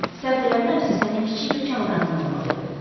Səhv eləmirəmsə sənin kiçik bir çamadanın olmalı idi.